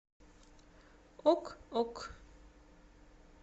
ок ок